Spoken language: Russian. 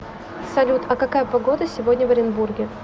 салют а какая погода сегодня в оренбурге